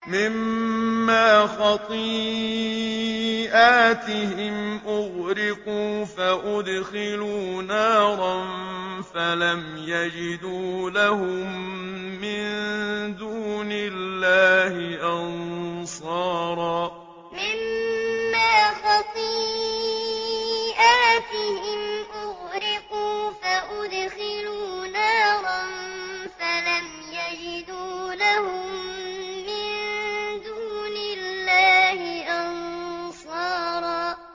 مِّمَّا خَطِيئَاتِهِمْ أُغْرِقُوا فَأُدْخِلُوا نَارًا فَلَمْ يَجِدُوا لَهُم مِّن دُونِ اللَّهِ أَنصَارًا مِّمَّا خَطِيئَاتِهِمْ أُغْرِقُوا فَأُدْخِلُوا نَارًا فَلَمْ يَجِدُوا لَهُم مِّن دُونِ اللَّهِ أَنصَارًا